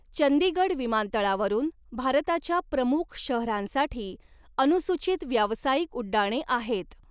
चंदीगड विमानतळावरून भारताच्या प्रमुख शहरांसाठी अनुसूचित व्यावसायिक उड्डाणे आहेत.